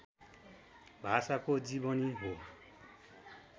भाषाको जीवनी हो